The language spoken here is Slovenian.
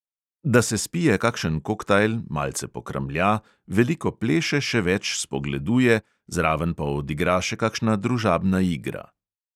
Da se spije kakšen koktajl, malce pokramlja, veliko pleše, še več spogleduje, zraven pa odigra še kakšna družabna igra.